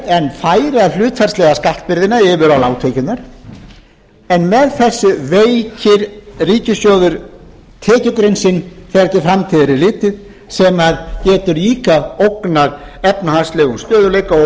en færa hlutfallslega skattbyrðina yfir á lágtekjurnar en með þessu veikir ríkissjóður tekjuprinsip þegar til framtíðar er litið sem getur hina ógnað efnahagslegum stöðugleika og